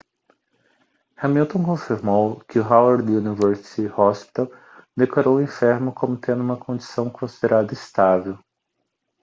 hamilton confirmou que o howard university hospital declarou o enfermo como tendo uma condição considerada estável